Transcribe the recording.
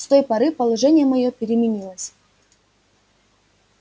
с той поры положение моё переменилось